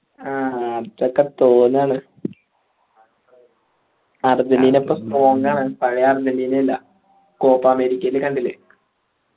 ആ അതൊക്കെ തോന്നാണ് അർജന്റീന ഇപ്പൊ strong ആണ് പഴേ അർജന്റീന അല്ല കോപ്പ് അമേരിക്കാനെ കണ്ടില്ലേ